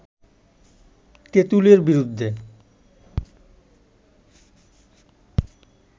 তেঁতুলের বিরুদ্ধে